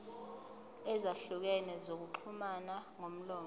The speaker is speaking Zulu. ezahlukene zokuxhumana ngomlomo